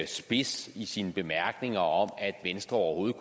spids i sine bemærkninger om at venstre overhovedet